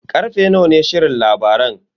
Karfe nawa ne shirin labaran?